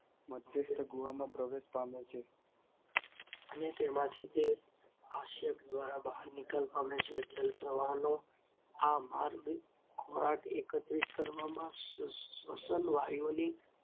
ગુહામાં પ્રવેશ પામે છે. અને તે અને તેમાંથી તે આસ્યક દ્વારા બહાર નિકાલ પામે છે. જલપ્રવાહનો આ માર્ગ ખોરાક એકત્રિત કરવામાં, શ્વસન વાયુઓની